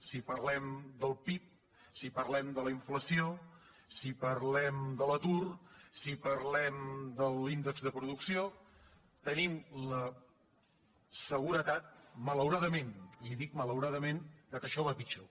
si parlem del pib si parlem de la inflació si parlem de l’atur si parlem de l’índex de producció tenim la seguretat malauradament li dic malauradament que això va a pitjor